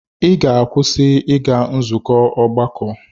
Ị ga-akwụsị ịga nzukọ ọgbakọ!